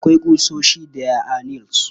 Akwai ƙusoshi. There are nails.